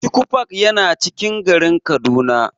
Chuchu park yana cikin garin Kaduna.